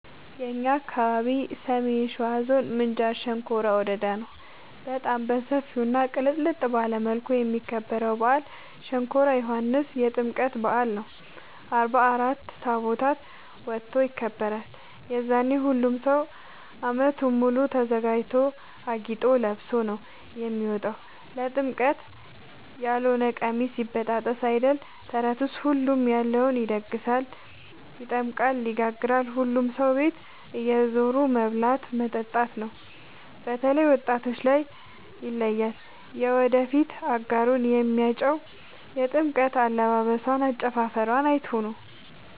የእኛ አካባቢ ሰሜን ሸዋ ዞን ምንጃር ሸንኮራ ወረዳ ነው። በጣም በሰፊው እና ቅልጥልጥ ባለ መልኩ የሚከበረው በአል ሸንኮራ ዮኋንስ የጥምቀት በአል ነው። አርባ አራት ታቦት ወጥቶ ይከብራል። የዛኔ ሁሉም ሰው አመቱን ሙሉ ተዘጋጅቶ አጊጦ ለብሶ ነው የሚወጣው ለጥምቀት ያሎነ ቀሚስ ይበጣጠስ አይደል ተረቱስ ሁሉም ያለውን ይደግሳል። ይጠምቃል ይጋግራል ሁሉም ሰው ቤት እየዞሩ መብላት መጠጣት ነው። በተላይ ወጣቶች ላይ ይለያል። የወደፊት አጋሩን የሚያጨው የጥምቀት አለባበሶን አጨፉፈሯን አይቶ ነው።